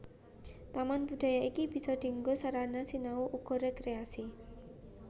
Taman budaya iki bisa dianggo sarana sinau uga rékréasi